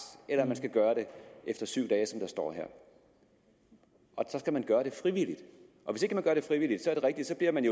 eller man skal gøre det efter syv dage som det står her så skal man gøre det frivilligt og hvis ikke man gør det frivilligt er det rigtigt at man